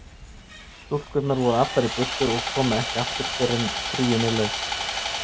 Stúlkurnar voru allar í burtu og komu ekki aftur fyrr en fríinu lauk.